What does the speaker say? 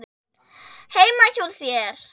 Heima hjá þér?